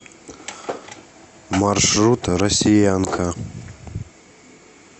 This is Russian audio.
маршрут россиянка